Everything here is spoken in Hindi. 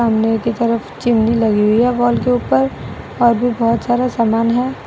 सामने की तरफ चिमनी लगी हुई है वॉल के ऊपर और भी बहोत सारा सामान है।